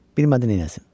Bilmədi neyləsin.